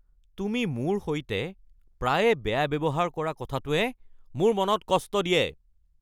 তুমি মোৰ সৈতে প্ৰায়ে বেয়া ব্যৱহাৰ কৰা কথাটোৱে মোৰ মনত কষ্ট দিয়ে।